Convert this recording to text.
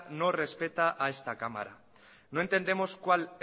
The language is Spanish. no respeta a esta cámara no entendemos cuál